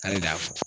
K'ale de y'a fɔ